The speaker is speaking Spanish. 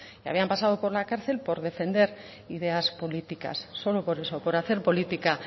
habían pasado por la cárcel por defender ideas políticas solo por eso por hacer política